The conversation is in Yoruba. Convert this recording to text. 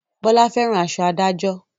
Bọlá fẹ́ràn aṣọ adájọ́